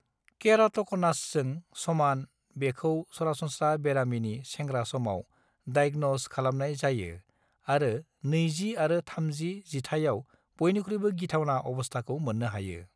केराट'क'नासजों समान बेखौ सरासनस्रा बेरामिनि सेंग्रा समाव डायग्नज खालामनाय जायो आरो नैजि आरो थामजि जिथाइआव बयनिख्रुइबो गिथावना अबस्थाखौ मोननो हायो।